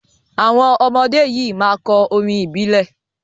Àwọn ọmọdé yìí máa kọ orin ìbílẹ̀.